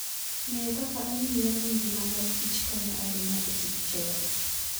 Ng'eyo kaka ong'iyo gi ngima mar kichkonyo ahinya e tij choko.